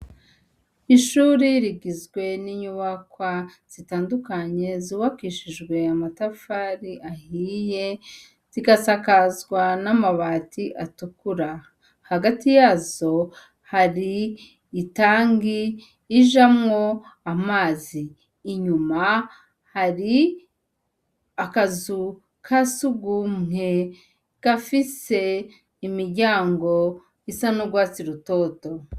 Ishuri rigizwe n'inyubakwa zitandukanye, zubakishijwe amatafari ahiye, zigasakazwa n'amabati atukura; hagati yazo hari itangi ijamwo amazi; inyuma hari akazu ka surwumwe gafise imiryango isa n'urwatsi rutoto.